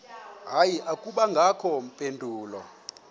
hayi akubangakho mpendulo